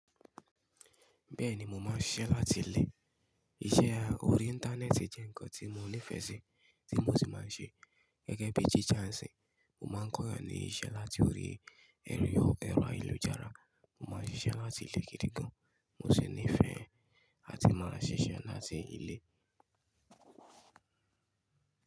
Bẹ́ẹ̀ni mo máa ń ṣiṣẹ́ láti ilé. Iṣẹ́ orí Íńtánẹ́ẹ̀tì jẹ́ nǹkan tí mo nífẹ̀ẹ́ sí, tí mo sì máa ń ṣe. Gẹ́gẹ́ bí teacher nsì, mo máa ń kọ́yàn ní iṣẹ́ láti orí ẹ̀rọ ayélujára. Mo máa ń ṣiṣẹ́ láti ilé gidi gan. Mo sì nífẹ̀ẹ́ àti máa ṣiṣẹ́ láti ilé.